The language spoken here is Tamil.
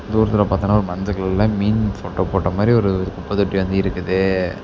தூரத்துல பாத்தம்ன்னா ஒரு மஞ்ச கலர்ல மீன் ஃபோட்டோ போட்ட மாரி ஒரு குப்ப தொட்டி வந்து இருக்குது.